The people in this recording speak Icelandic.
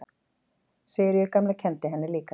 Sigríður gamla kenndi henni líka.